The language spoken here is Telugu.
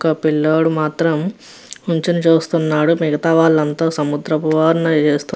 ఒక పిల్లడు మాత్రం నిలుచొని చూస్తున్నాడు. మిగుత వాళ్ళు అంతా ఒక సముద్రం